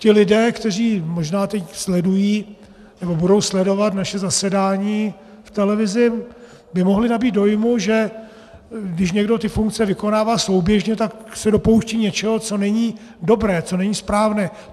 Ti lidé, kteří možná teď sledují nebo budou sledovat naše zasedání v televizi, by mohli nabýt dojmu, že když někdo ty funkce vykonává souběžně, tak se dopouští něčeho, co není dobré, co není správné.